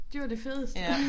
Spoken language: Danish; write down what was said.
De var det fedeste